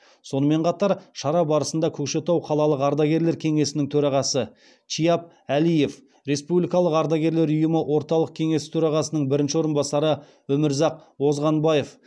сонымен қатар шара барысында көкшетау қалалық ардагерлер кеңесінің төрағасы шияп әлиев республикалық ардагерлер ұйымы орталық кеңесі төрағасының бірінші орынбасары өмірзақ озғанбаев